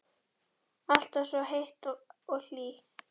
Alltaf svo heit og hlý.